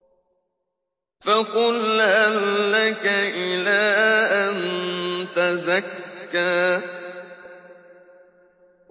فَقُلْ هَل لَّكَ إِلَىٰ أَن تَزَكَّىٰ